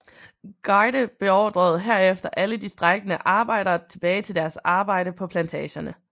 Garde beordrede herefter alle de strejkende arbejdere tilbage til deres arbejde på plantagerne